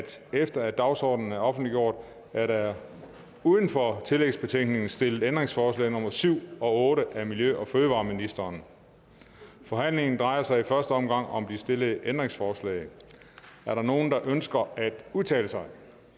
efter at dagsordenen er offentliggjort er der uden for tillægsbetænkningen stillet ændringsforslag nummer syv og otte af miljø og fødevareministeren forhandlingen drejer sig i første omgang om de stillede ændringsforslag er der nogen der ønsker at udtale sig